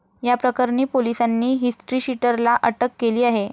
याप्रकरणी पोलिसांनी हिस्ट्रीशीटरला अटक केली आहे.